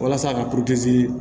Walasa ka